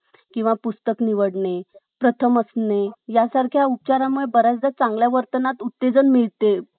हे काहीही करून मला मिळेलच. तर हो, नक्कीच ब्रह्मांड तुमचा response ऐकेल. आणि तुम्हाला ते मिळेल. अं या book मध्ये अनेक प्रकारे त्यांनी example दिलेलं आहे. कि एक व्यक्ती होती. तिला त्याचा,